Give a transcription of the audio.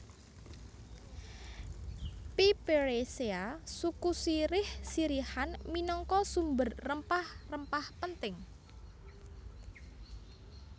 Piperaceae suku sirih sirihan minangka sumber rempah rempah penting